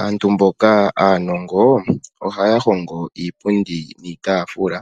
Aantu mboka aanongo ohaya hongo iipundi niitaafula,